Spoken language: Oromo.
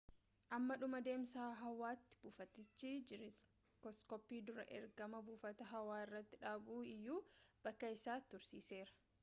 hamma dhuma deemsa hawaatti buufatichi jiirooskooppii dursa ergama buufataa hawaa irratti dhabu iyyuu bakka isaa tursiiseera